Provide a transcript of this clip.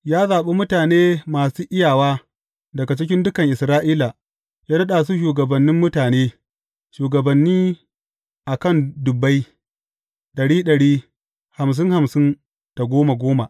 Ya zaɓi mutane masu iyawa daga cikin dukan Isra’ila, ya naɗa su shugabannin mutane, shugabanni a kan dubbai, ɗari ɗari, hamsin hamsin da goma goma.